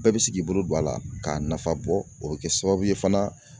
Bɛɛ bɛ sigi bolo don a la k'a nafa bɔ o bɛ kɛ sababu ye fana